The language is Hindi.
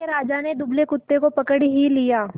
मोटे राजा ने दुबले कुत्ते को पकड़ ही लिया